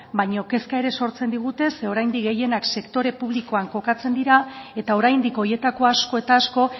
baina kezka ere sortzen digute zeren oraindik gehienak sektore publikoan kokatzen dira eta oraindik horietako asko eta asko